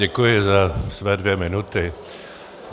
Děkuji za své dvě minuty.